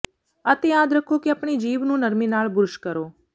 ਅਤੇ ਯਾਦ ਰੱਖੋ ਕਿ ਆਪਣੀ ਜੀਭ ਨੂੰ ਨਰਮੀ ਨਾਲ ਬੁਰਸ਼ ਕਰੋ